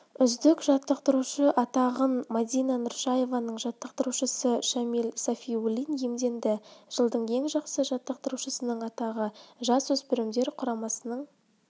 үздік жаттықтырушы атағынмадина нұршаеваның жаттықтырушысы шамиль сафиуллин иемденді жылдың ең жақсы жаттықтырушының атағы жасөспірімдер құрамасының